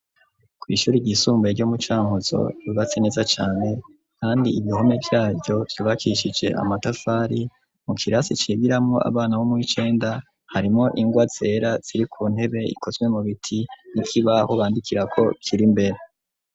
Kw'ishuri ryisumbuye, ryo mu Cankuzo, ryubatse neza cane, kandi ibihome vyaryo, vyubakishije amatafari; mu kirasi cigiramwo, abana bo mu w'icenda, harimwo ingwa zera, ziri ku ntebe, ikozwe mu biti; n'ikibaho bandikirako kiri imbere.